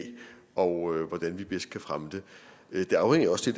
og hvordan vi bedst kan fremme det det afhænger jo også